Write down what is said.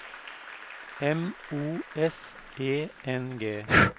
M O S E N G